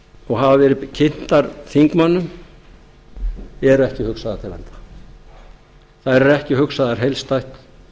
og hafa verið kynntar þingmönnum eru ekki hugsaðar til enda þær eru ekki hugsaðar heildstætt